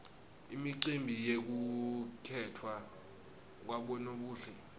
imicimbi yekukhetfwa kwabonobuhle